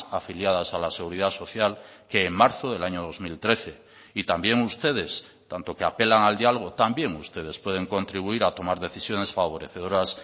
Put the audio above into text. afiliadas a la seguridad social que en marzo del año dos mil trece y también ustedes tanto que apelan al diálogo también ustedes pueden contribuir a tomar decisiones favorecedoras